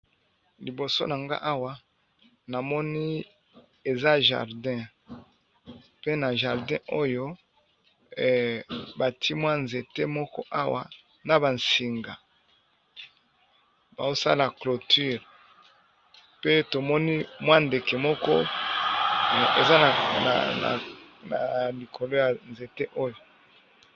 Liboso na nga awa na moni eza jardin pe na jardin oyo batimwa nzete moko awa na bansinga baosala cloture, pe tomoni mwa ndeke moko eza na likolo ya nzete oyo.